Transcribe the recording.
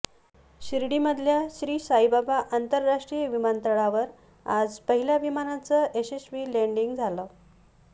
शिर्डीमधल्या श्रीसाईबाबा आंतरराष्ट्रीय विमानतळावर आज पहिल्या विमानाचं यशस्वी लॅन्डिंग झालंय